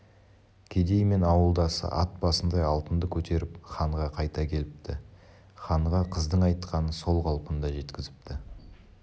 кедей мен ауылдасы ат басындай алтынды көтеріп ханға қайта келіпті ханға қыздың айтқанын сол қалпында жеткізіпті